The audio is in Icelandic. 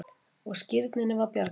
Og skírninni var bjargað.